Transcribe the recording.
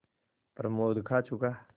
प्रमोद खा चुका